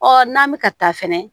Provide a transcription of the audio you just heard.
Ɔ n'an bɛ ka taa fɛnɛ